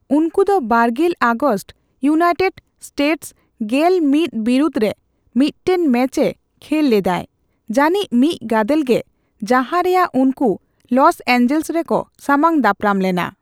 ᱩᱱᱠᱩ ᱫᱚ ᱵᱟᱨᱜᱮᱞ ᱟᱜᱚᱥᱴ ᱤᱭᱩᱱᱟᱭᱴᱮᱰ ᱥᱴᱮᱴᱥ ᱜᱮᱞ ᱢᱤᱛ ᱵᱤᱨᱩᱫᱷ ᱨᱮ ᱢᱤᱫᱴᱮᱱ ᱢᱮᱪᱮ ᱠᱷᱮᱞ ᱞᱮᱫᱟᱭ, ᱡᱟᱹᱱᱤᱡ ᱢᱤᱫ ᱜᱟᱫᱮᱞ ᱜᱮ ᱡᱟᱦᱟᱨᱮᱭᱟᱜ ᱩᱱᱠᱩ ᱞᱚᱥ ᱮᱹᱧᱡᱮᱹᱞᱥ ᱨᱮᱠᱚ ᱥᱟᱢᱟᱝ ᱫᱟᱯᱨᱟᱢ ᱞᱮᱱᱟ ᱾